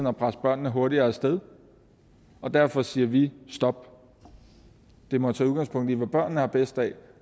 at presse børnene hurtigere af sted og derfor siger vi stop det må tage udgangspunkt i hvad børnene har bedst af